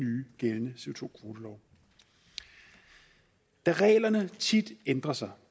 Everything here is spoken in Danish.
gældende co da reglerne tit ændrer sig